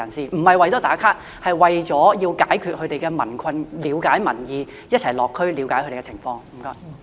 這並不是為了"打卡"，而是要解決民困，了解民意，一起落區了解他們的情況。